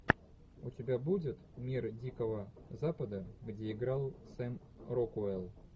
у тебя будет мир дикого запада где играл сэм рокуэлл